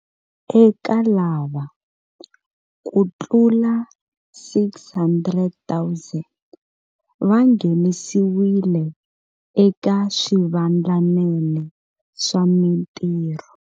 Eka lava, kutlula 600 000 va nghenisiwile eka swivandlanene swa mitirho.